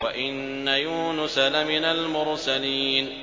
وَإِنَّ يُونُسَ لَمِنَ الْمُرْسَلِينَ